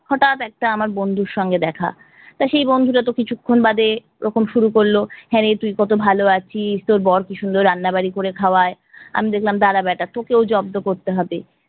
হটাত একটা আমার বন্ধুর সঙ্গে দেখা, তা সেই বন্ধুটা তো কিছুক্ষন বাদে ওরকম শুরু করলো হাঁরে তুই কত ভালো আছিস, তোর বড় কি সুন্দর রান্না বারি করে খাওয়াই। আমি দেখলাম দারা বেটা তোকেও জব্দ করতে হবে।